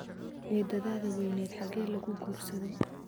Eedadada weyneyd hage lagu guursaday?